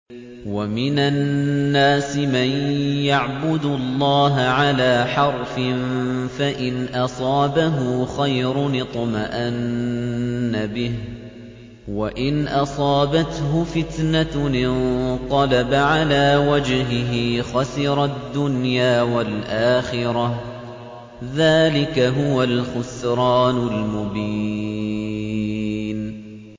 وَمِنَ النَّاسِ مَن يَعْبُدُ اللَّهَ عَلَىٰ حَرْفٍ ۖ فَإِنْ أَصَابَهُ خَيْرٌ اطْمَأَنَّ بِهِ ۖ وَإِنْ أَصَابَتْهُ فِتْنَةٌ انقَلَبَ عَلَىٰ وَجْهِهِ خَسِرَ الدُّنْيَا وَالْآخِرَةَ ۚ ذَٰلِكَ هُوَ الْخُسْرَانُ الْمُبِينُ